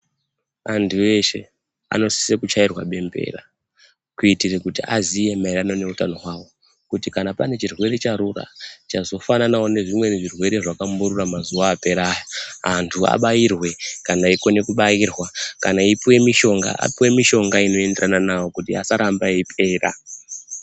Antu eshe anosisa kuchairwa bembera kuitire kuti aziye mairirano neutano hwawo, kuti kana pane chirwere charura chazofananawo nezvimweni zvirwere zvakamborura mazuwa apera aya, antu abairwe kana eikona kubairwa, kana eipuwa mishonga apuwe mishonga inoenderana navo kuri asaramba eipera.